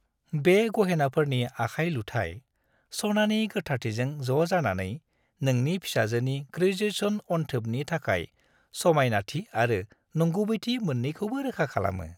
बे गहेनाफोरनि आखाय-लुथाय, सनानि गोथारथिजों ज' जानानै, नोंनि फिसाजोनि ग्रेजुएशन अनथोबनि थाखाय समायनाथि आरो नंगुबैथि मोन्नैखौबो रोखा खालामो।